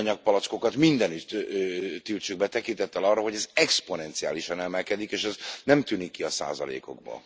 a műanyag palackokat mindenütt tiltsuk be tekintettel arra, hogy ez exponenciálisan emelkedik és ez nem tűnik ki a százalékokból.